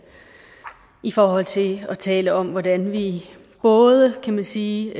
i forhold til at tale om hvordan vi både kan man sige